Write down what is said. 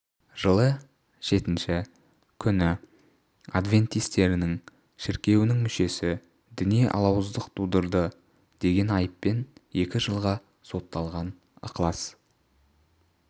жылы жетінші күн адвентистерінің шіркеуінің мүшесі діни алауыздық тудырды деген айыппен екі жылға сотталған ықылас